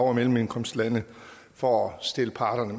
og mellemindkomstlande for at stille parterne